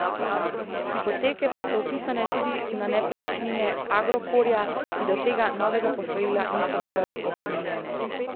Hipoteke pa so vpisane tudi na nepremičnine Agrokorja, ki do tega novega posojila niso bile obremenjene.